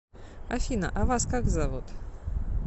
афина а вас как зовут